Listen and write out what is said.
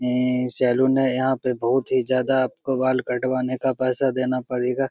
ए ए सैलून है यहां पे बहुत ही ज्यादा आपको बाल कटवाने का पैसा देना पड़ेगा।